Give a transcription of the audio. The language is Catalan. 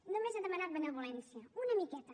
només he demanat benevolència una miqueta